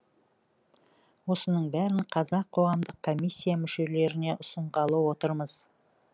осының бәрін қазір қоғамдық комиссия мүшелеріне ұсынғалы отырмыз